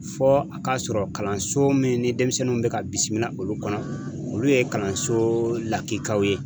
Fɔ a k'a sɔrɔ kalanso min ni denmisɛnninw bɛ ka bisimila olu kɔnɔ, olu ye kalanso lakikaw ye.